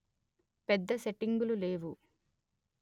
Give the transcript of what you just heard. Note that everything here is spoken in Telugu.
పెద్ద సెట్టింగులు లేవు